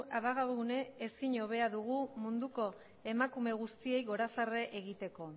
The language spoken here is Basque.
abagune ezin hobea dugu munduko emakume guztiei gorazarre egiteko